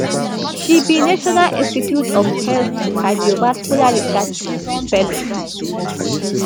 she be national institute of health cardiovascular research fellow